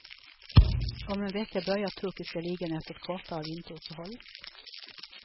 Om en vecka börjar turkiska ligan efter ett kortare vinteruppehåll.